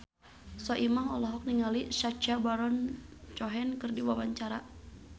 Soimah olohok ningali Sacha Baron Cohen keur diwawancara